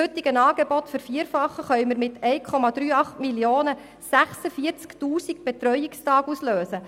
Bei einer Vervierfachung des heutigen Angebots können mit 1,38 Mio. Franken 46 000 Betreuungstage ausgelöst werden.